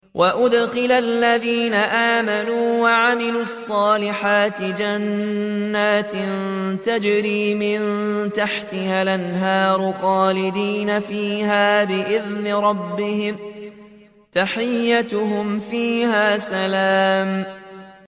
وَأُدْخِلَ الَّذِينَ آمَنُوا وَعَمِلُوا الصَّالِحَاتِ جَنَّاتٍ تَجْرِي مِن تَحْتِهَا الْأَنْهَارُ خَالِدِينَ فِيهَا بِإِذْنِ رَبِّهِمْ ۖ تَحِيَّتُهُمْ فِيهَا سَلَامٌ